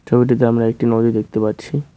ছবিটিতে আমরা একটি নদী দেখতে পাচ্ছি।